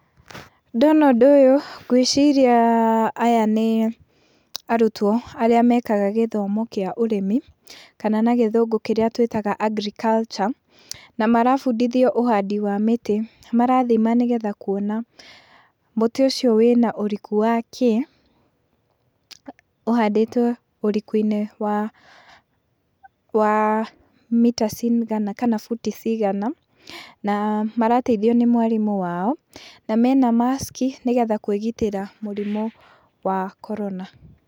Ndona ũndũ ũyũ ngwĩciria ah aya nĩ arutwo arĩa mekaga gĩthomo kĩa ũrĩmi , kana na gĩthũngũ kĩrĩa twĩtaga agriculture, na marabundithio ũhandi wa mĩtĩ , nĩ marathima nĩgetha kuona mũtĩ ũcio wĩna ũriku wa kĩ , ũhandĩtwo ũriku-inĩ wa mita cigana kana buti cigana, na marateithio nĩ mwarimũ wao , na mena maski nĩgetha kwĩgitĩra mũrimũ wa korona.